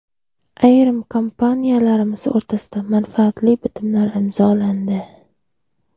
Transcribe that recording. Ayrim kompaniyalarimiz o‘rtasida manfaatli bitimlar imzolandi.